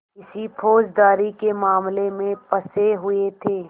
किसी फौजदारी के मामले में फँसे हुए थे